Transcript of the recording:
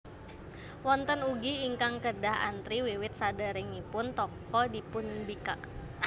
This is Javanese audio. Wonten ugi ingkang kedah antri wiwit saderengipun toko dipunbikak